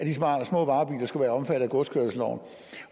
at de små varebiler skulle være omfattet af godskørselsloven